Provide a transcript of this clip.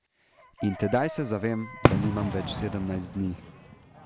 In tedaj se zavem, da nimam več sedemnajst dni.